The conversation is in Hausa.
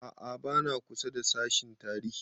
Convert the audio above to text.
A'a ba na kusa da sashen tarihi